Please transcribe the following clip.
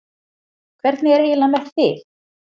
Hvernig er eiginlega með þig?